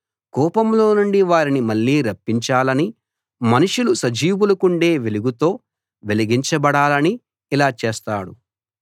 కూపంలోనుండి వారిని మళ్ళీ రప్పించాలని మనుషులు సజీవులకుండే వెలుగుతో వెలిగించబడాలని ఇలా చేస్తాడు